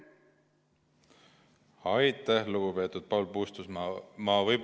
Aitäh, lugupeetud Paul Puustusmaa!